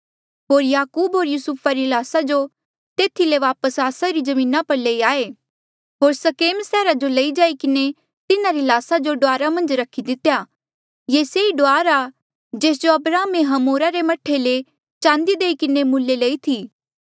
होर याकूब होर युसुफा री ल्हास जो तेथी ले वापस आस्सा री जमीना पर लेई आये होर सेकेम सैहरा जो लई जाई किन्हें तिन्हारी ल्हासा जो डुआर मन्झ रखी दितेया ये से ई डुआर आ जेस जो अब्राहमे हमोरा रे मह्ठे ले चांदी देई किन्हें मुले लई थी